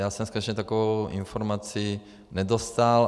Já jsem skutečně takovou informaci nedostal.